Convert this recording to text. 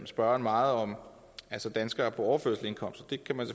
spørgeren meget om danskere på overførselsindkomst og det kan man